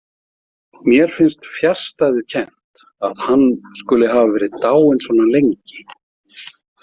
Mér finnst fjarstæðukennt að hann skuli hafa verið dáinn svona lengi.